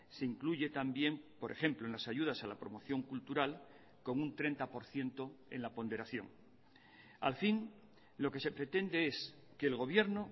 se incluye también por ejemplo en las ayudas a la promoción cultural con un treinta por ciento en la ponderación al fin lo que se pretende es que el gobierno